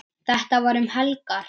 Þetta var um helgar.